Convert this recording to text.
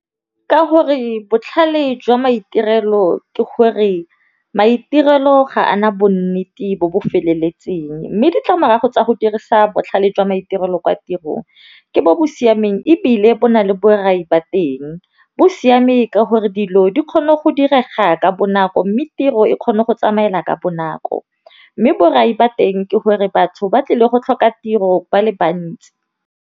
Ka gore botlhale jwa maitirelo ke gore maitirelo ga ana bonnete bo bo feleletseng, mme ditlamorago tsa go dirisa botlhale jwa maitirelo kwa tirong ke bo bo siameng ebile bo na le borai ba teng. Bo siame ka gore dilo di kgone go direga ka bonako mme tiro e kgona go tsamaela ka bonako mme borai ba teng ke gore batho ba tlile go tlhoka tiro ba le bantsi.